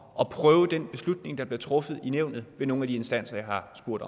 at prøve den beslutning der bliver truffet i nævnet ved nogle af de instanser jeg har spurgt